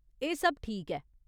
एह् सब ठीक ऐ।